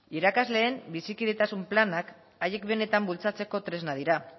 irakasleen bizikidetasun planek haiek benetan bultzatzeko tresna dira